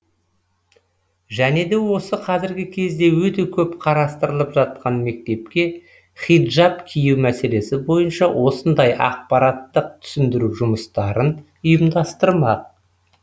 және де осы қазіргі кезде өте көп қарастырылып жатқан мектепке хиджаб кию мәселесі бойынша осындай ақпараттық түсіндіру жұмыстарын ұйымдастырдық